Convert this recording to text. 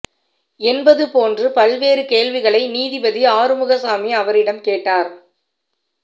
என்பது போன்று பல்வேறு கேள்விகளை நீதிபதி ஆறுமுகசாமி அவரிடம் கேட்டார்